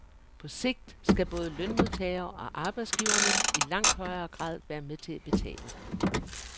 På sigt skal både lønmodtagere og arbejdsgiverne i langt højere grad være med til at betale.